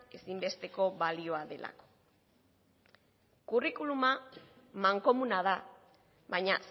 ezinbesteko balioa dela kurrikuluma mankomuna da baina